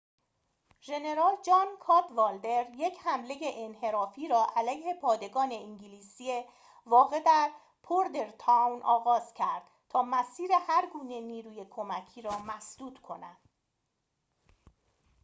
ژنرال جان کادوالدر یک حمله انحرافی را علیه پادگان انگلیسی واقع در بوردرتاون آغاز کرد تا مسیر هرگونه نیروی کمکی را مسدود کند